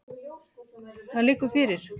Það liggur fyrir.